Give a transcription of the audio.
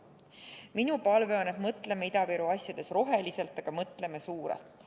Minu palve on, et mõtleme Ida-Viru asjades roheliselt, aga mõtleme suurelt.